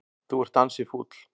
Þú ert ansi fúll.